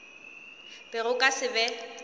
be go ka se be